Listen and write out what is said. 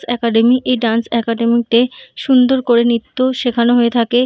Academy এই dance academy -তে সুন্দর করে নৃত্য শেখান হয়ে থাকে।